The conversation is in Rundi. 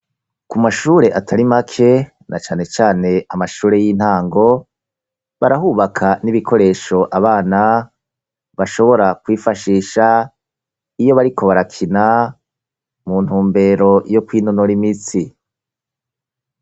ku mashure atari make na cane cane amashure y'intango barahubaka n'ibikoresho abana bashobora kwifashisha iyo bariko barakina mu ntumbero yo kwinonora imitsi